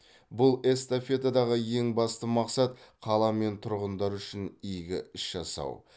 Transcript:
бұл эстафетадағы ең басты мақсат қала мен тұрғындар үшін игі іс жасау